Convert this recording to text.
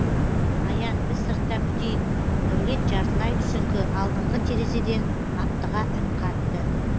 аян біз сыртта күтейік дәулет жартылай түсіңкі алдыңғы терезеден аптыға үн қатты